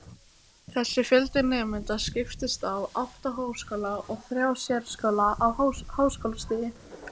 Þessi fjöldi nemenda skiptist á átta háskóla og þrjá sérskóla á háskólastigi.